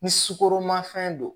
Ni sukoromafɛn don